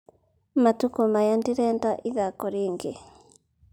Matukũ maya ndirenda ithako rĩingĩ.